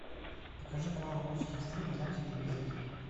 покажи канал русский экстрим на телевизоре